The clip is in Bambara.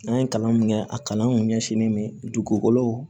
An ye kalan min kɛ a kalan kun ɲɛsinnen bɛ dugukolo